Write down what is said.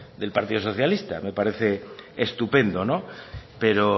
del partido socialista me parece estupendo pero